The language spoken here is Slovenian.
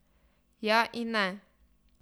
Ja in ne.